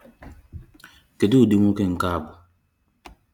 Kedụ ụdị nwoke nke a bụ?